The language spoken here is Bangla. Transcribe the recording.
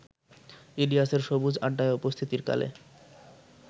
ইলিয়াসের সবুজ-আড্ডায় উপস্থিতির কালে